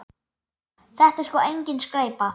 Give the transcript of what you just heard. Þetta er sko engin skræpa.